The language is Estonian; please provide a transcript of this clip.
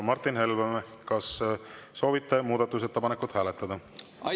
Martin Helme, kas soovite muudatusettepanekut hääletada?